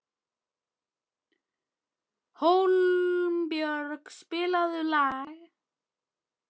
Hólmbjörg, spilaðu lag.